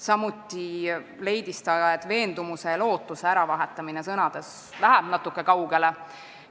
Samuti leidis ta, et sõnade "veendumus" ja "lootus" äravahetamine läheb ka natuke liiga kaugele.